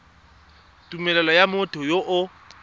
tumelelo ya motho yo o